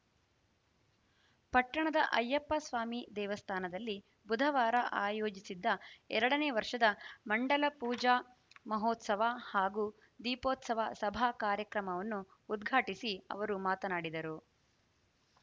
ಪಟ್ಟಣದ ಅಯ್ಯಪ್ಪಸ್ವಾಮಿ ದೇವಸ್ಥಾನದಲ್ಲಿ ಬುಧವಾರ ಆಯೋಜಿಸಿದ್ದ ಎರಡನೇ ವರ್ಷದ ಮಂಡಲ ಪೂಜಾ ಮಹೋತ್ಸವ ಹಾಗೂ ದೀಪೋತ್ಸವ ಸಭಾ ಕಾರ್ಯಕ್ರಮವನ್ನು ಉದ್ಘಾಟಿಸಿ ಅವರು ಮಾತನಾಡಿದರು